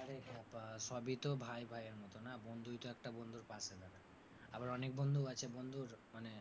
আরে ক্ষেপা সবই তো ভাই ভাইয়ের মতো না বন্ধুই তো একটা বন্ধুর পাশে দাঁড়ায়। আবার অনেক বন্ধু আছে বন্ধুর মানে